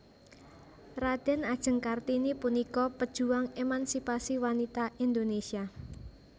Radèn Ajeng Kartini punika pejuang émansipasi wanita Indonesia